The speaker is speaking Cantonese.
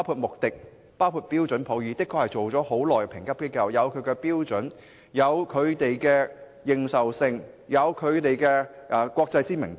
穆迪、標準普爾等國際評級機構經營已久，自有其標準、認受性及國際知名度。